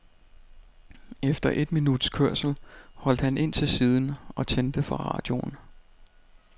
Efter et minuts kørsel holdt han ind til siden og tændte for radioen.